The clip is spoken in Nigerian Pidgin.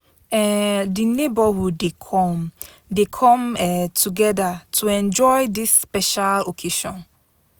um Di neighborhood dey come dey come um together to enjoy dis special occasion.